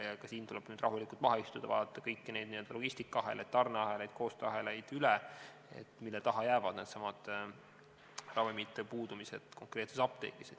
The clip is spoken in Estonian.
Nüüd tuleb rahulikult maha istuda, vaadata kõiki neid logistikaahelaid, tarneahelaid ja koostööahelaid, et aru saada, mille taha jäävad needsamad ravimite puudumised konkreetses apteegis.